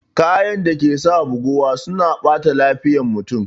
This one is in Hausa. Kayan dake sa buguwa suna ɓata lafiyar mutum